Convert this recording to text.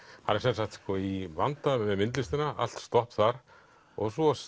hann er sem sagt í vanda með myndlistina allt stopp þar og svo